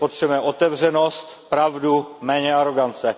Potřebujeme otevřenost, pravdu, méně arogance.